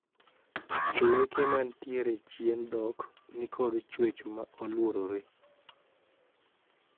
Leke manitiere chien dhok nikod chwech maoluorre.